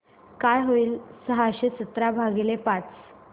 काय होईल सहाशे सतरा भागीले पाच